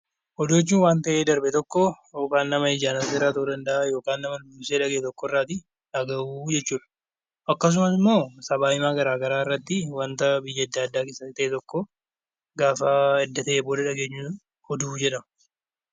Oduu jechuun waan ta'ee darbe tokko yookiin nama ijaan yookaan nama dursee dhagayerraa dhagahuu jechuudha. Akkasumas immoo miidiyaalee garaagaraa irratti waan ta'e tokko gaafa baafnee himnu oduu jedhama